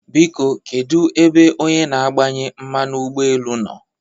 Biko kedụ ebe onye na-agbanye mmanụ ụgbọ elu nọ?